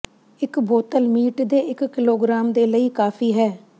ਇਕ ਬੋਤਲ ਮੀਟ ਦੇ ਇੱਕ ਕਿਲੋਗ੍ਰਾਮ ਦੇ ਲਈ ਕਾਫ਼ੀ ਹੈ